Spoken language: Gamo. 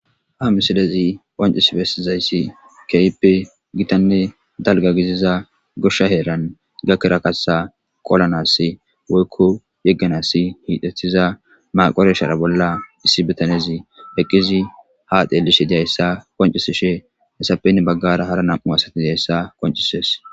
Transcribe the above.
Ha misilezi qoncis bestizayssi keyppe gitanne dalga giziza goshsha heeran gakkera kaththa qolanas woykko yegganasi hiitethiza maqoreshara bolla issi bitanezi eqqizi ha deelishi diyayssa qoncisi she hesapen baggara hara nam'u asati dihayssa qoncisees.